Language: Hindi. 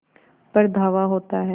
पर धावा होता है